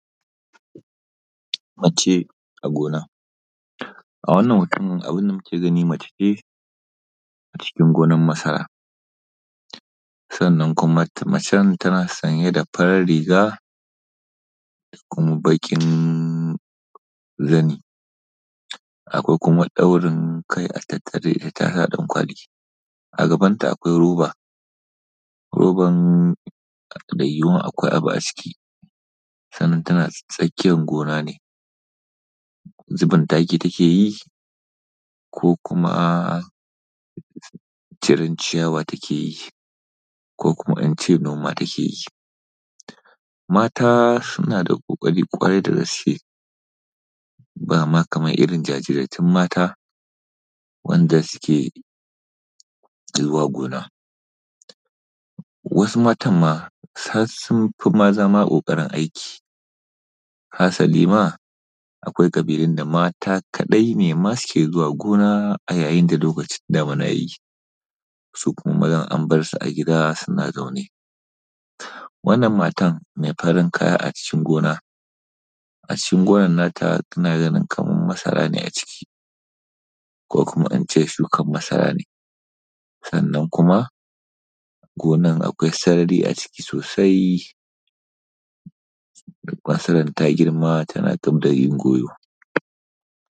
Macce a gona. A wannan hoton abin da muke gani mace ce a cikin gonar masara, sannan kuma macen tana sanye da farar riga da kuma baƙin zani, akwai kuma ɗaurin kai a tattare da ita tana da ɗankwali, a gaban ta akwai roba, roban da yiwuwar akwai abu a ciki sannan tana tsakiyar gona ne, zubin taki take yi ko kuma ciren ciyawa ta ke yi ko kuma in ce noma take yi. Mata suna da ƙoƙari ƙwarai da gaske, ba ma kamar irin jajirtattun mata wanda suke zuwa gona. Wasu matan ma har sun fi maza ma ƙoƙarin aiki, hasali ma akwai ƙabilun da mata kaɗai ne ma suke zuwa gona a yayin da lokacin damuna ya yi, su kuma mazan an bar su a gida suna zaune. Wannan matan mai farin kaya a cikin gona, a cikin gonan nata tana ganin kaman masara ne a ciki ko kuma in ce shukan masara ne, sannan kuma gonar akwai sarari a ciki sosai masarar ta girma tana dabda yin goyo.